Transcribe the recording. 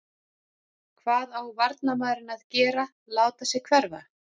Hvað á varnarmaðurinn að gera láta sig hverfa?